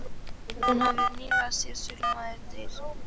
Hún hafði nýlega séð Sölumaður deyr með